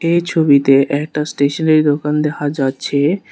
এই ছবিতে একটা স্টেশনারি দোকান দেখা যাচ্ছে।